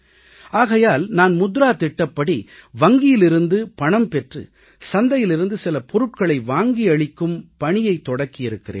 ஆகையால் நான் முத்ரா திட்டத்தின்படி வங்கியிலிருந்து பணம் பெற்று சந்தையிலிருந்து சில பொருட்களை வாங்கி அளிக்கும் பணியை தொடக்கி இருக்கிறேன்